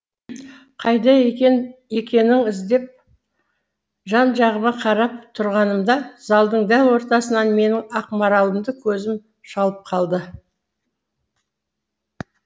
қайда екен екенің іздеп жан жағыма қарап тұрғанымда залдың дәл ортасынан менің ақмаралымды көзім шалып қалды